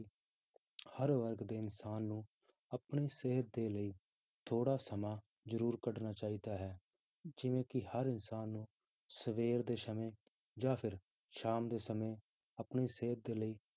ਹਰ ਵਰਗ ਦੇ ਇਨਸਾਨ ਨੂੰ ਆਪਣੀ ਸਿਹਤ ਦੇ ਲਈ ਥੋੜ੍ਹਾ ਸਮਾਂ ਜ਼ਰੂਰ ਕੱਢਣਾ ਚਾਹੀਦਾ ਹੈ ਜਿਵੇਂ ਕਿ ਹਰ ਇਨਸਾਨ ਨੂੰ ਸਵੇਰ ਦੇ ਸਮੇਂ ਜਾਂ ਫਿਰ ਸ਼ਾਮ ਦੇ ਸਮੇਂ ਆਪਣੀ ਸਿਹਤ ਦੇ ਲਈ